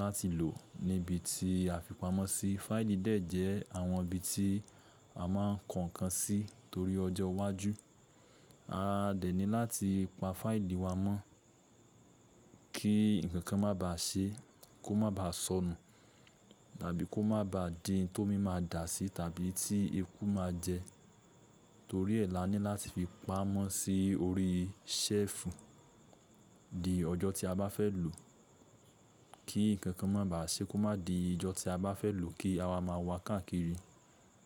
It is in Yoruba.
láti lò níbi tí a fi pamọ́ sí. Fáìlì dẹ̀ jẹ́ àwọn ibi tí a ma ń kọ nǹkan sí torí ọjọ́ iwájú. A dẹ̀ ní láti pa fáìlì wa mọ́ kí nǹkankan má ba à ṣe é kó má ba à sọnù tàbí kó má ba à dihun tómi máa dà sí tàbí tí ekú ma jẹ. Torí ẹ̀ la ní láti fi pa á mọ́ sí orí i ṣẹ́ẹ̀fù di ọjọ́ tí a bá fẹ́ lò kí nǹkankan má ba à ṣe é kó má di ijọ́ tí a bá fẹ́ lòó kí á wá ma wa káàkiri.